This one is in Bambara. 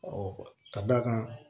ka d'a kan